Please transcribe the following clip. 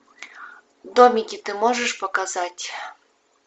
домики ты можешь показать